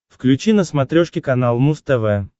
включи на смотрешке канал муз тв